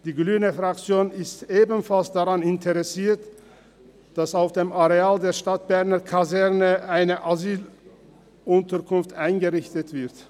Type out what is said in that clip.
Die grüne Fraktion ist ebenfalls daran interessiert, dass auf dem Areal der Stadtberner Kaserne eine Asylunterkunft eingerichtet wird.